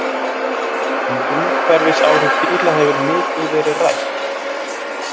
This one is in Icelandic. Um umhverfisáhrif bíla hefur mikið verið rætt.